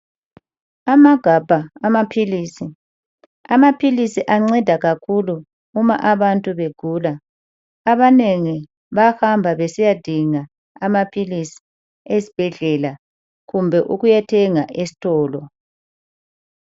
Amagabha amaphilisi, amaphilisi anceda kakhulu uma abantu begula abanengi bahamba besiyadinga amaphilisi esibhedlela kumbe ukuyothenga esitolo.